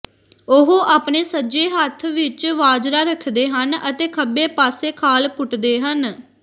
ਉਹ ਆਪਣੇ ਸੱਜੇ ਹੱਥ ਵਿਚ ਵਾਜਰਾ ਰੱਖਦੇ ਹਨ ਅਤੇ ਖੱਬੇ ਪਾਸੇ ਖਾਲ ਪੁੱਟਦੇ ਹਨ